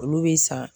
Olu bɛ san